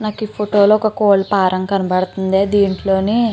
నాకు ఈ ఫోటోలో ఒక కోళ్ల ఫారం కనబడుతుంది దీంట్లోని --